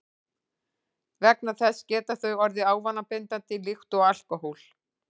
Vegna þessa geta þau orðið ávanabindandi líkt og alkóhól.